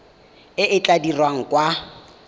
e e tla dirwang kwa